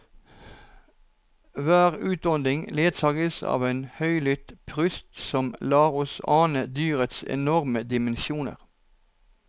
Hver utånding ledsages av en høylytt prust som lar oss ane dyrets enorme dimensjoner.